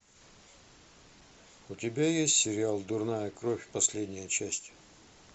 у тебя есть сериал дурная кровь последняя часть